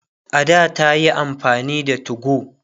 a da tayi amfani da 2go